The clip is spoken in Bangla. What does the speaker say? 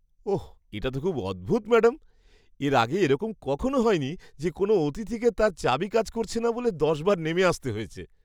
ওহ, এটা তো খুব অদ্ভুত, ম্যাডাম। এর আগে এরকম কখনও হয়নি যে কোনও অতিথিকে তার চাবি কাজ করছে না বলে দশ বার নেমে আসতে হয়েছে।